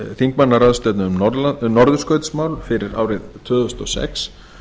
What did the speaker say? þingmannaráðstefnu um norðurskautsmál fyrir árið tvö þúsund og sex